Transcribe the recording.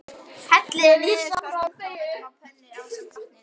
Hellið niðurskornu tómötunum út á pönnuna ásamt vatninu.